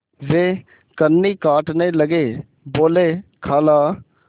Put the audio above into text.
वे कन्नी काटने लगे बोलेखाला